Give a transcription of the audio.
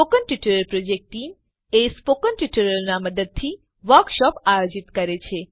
spoken tutorial project spoken ટ્યુટોરીયલોની મદદથી workshop આયોજિત કરે છે